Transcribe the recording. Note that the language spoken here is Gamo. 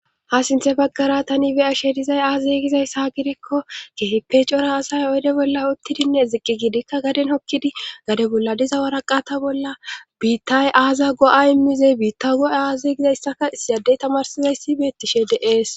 ha sinthe baggara tani be'ashe dizay aaze gizayssa gidikko keeppe cora asay oyde bolla uttidinne ziqqi gidikka gaden hokkidi gade bolla diza waraqata bolla biittay aaza go'a immizey biitta go'a aazey gizayssaka isiyadey tamarsizayssi beettishe de'ees